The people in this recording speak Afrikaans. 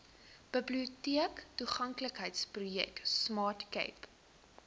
biblioteektoeganklikheidsprojek smart cape